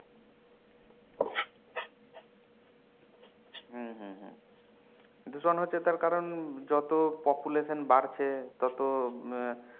হম হম হম দূষণ হচ্ছে তার কারণ যত population বাড়ছে তত আহ